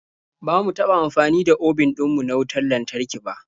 Ba mu taɓa amfani da obin ɗin mu na wautar lantarki ba.